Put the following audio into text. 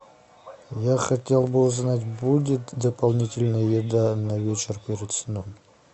я хотел бы узнать будет дополнительная еда на вечер перед сном